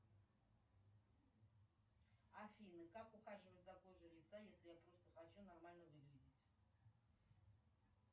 афина как ухаживать за кожей лица если я просто хочу нормально выглядеть